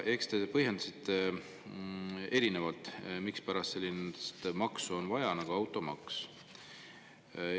Te põhjendasite erinevalt, mispärast on vaja sellist maksu nagu automaks.